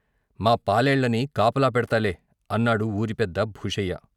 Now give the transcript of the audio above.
మా పాలేళ్ళని కాపలా పెడ్తాలే " అన్నాడు ఊరి పెద్ద భూషయ్య.